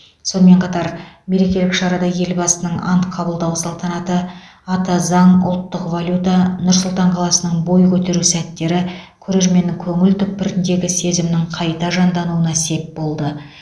сонымен қатар мерекелік шарада елбасының ант қабылдау салтанаты ата заң ұлттық валюта нұр сұлтан қаласының бой көтеру сәттері көрерменнің көңіл түкпіріндегі сезімнің қайта жандануына сеп болды